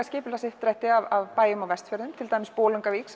skipulagsuppdrætti að bæjum á Vestfjörðum til dæmis Bolungarvík